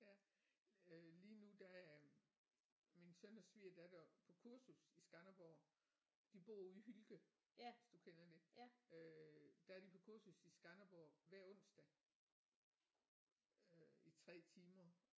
Ja øh lige nu der er min søn og svigerdatter på kursus i Skanderborg de bor ude i Hylke hvis du kender det øh der er de på kursus i Skanderborg hver onsdag øh i 3 timer